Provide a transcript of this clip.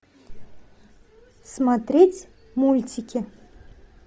смотреть мультики